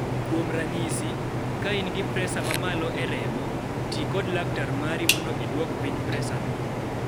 Kuom ranyisi, ka in gi presa mamalo e remo, ti kod laktar mari mondo iduok piny presa no.